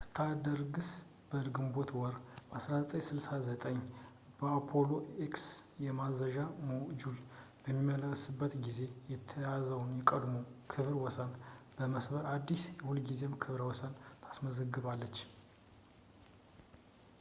ስታርደስት በግንቦት ወር 1969 የአፖሎ ኤክስ የማዘዣ ሞጁል በሚመለስበት ጊዜ የተያዘውን የቀድሞ ክብረ ወሰን በመስበር አዲስ የሁልጊዜም ክብረ ወሰን ታስመዘግባለች